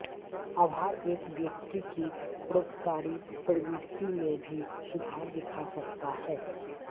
आभार एक व्यक्ति की परोपकारी प्रवृत्ति में भी सुधार दिखा सकता है